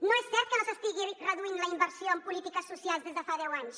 no és cert que s’estigui reduint la inversió en polítiques socials des de fa deu anys